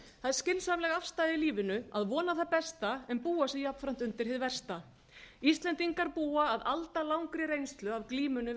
skynsamleg afstaða í lífinu að vona það besta en búa sig jafnframt undir hið versta íslendingar búa að aldalangri reynslu af glímunni við